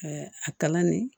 a kalan nin